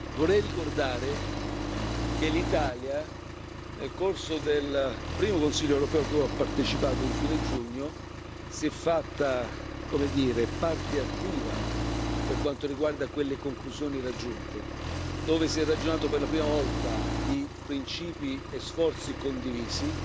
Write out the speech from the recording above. Vorrei ricordare che l'Italia, nel corso del primo Consiglio europeo a cui ho partecipato a fine giugno, si è fatta, come dire, parte attiva per quanto riguarda quelle conclusioni raggiunte, dove si è ragionato per la prima volta di principi e sforzi condivisi,